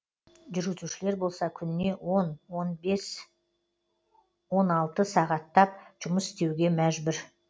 жүру тішілер болса күніне он он бес он алты сағаттап жұмыс істеуге мәжбүр